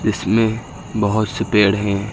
जिसमें बहोत से पेड़ है।